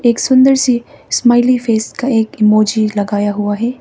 एक सुंदर सी स्माइली फेस का एक इमोजी लगाया हुआ है।